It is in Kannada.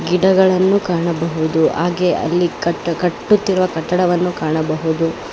ಗಿಡಗಳನ್ನು ಕಾಣಬಹುದು ಹಾಗೆ ಅಲ್ಲಿ ಕಟ್ಟು ಕಟ್ಟುತ್ತಿರುವ ಕಟ್ಟಡವನ್ನು ಕಾಣಬಹುದು.